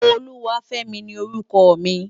Oluwafemi ni órùkò mi